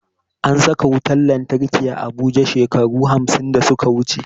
An saka wutan lantarki a abuja shekaru hamsin da suka wuche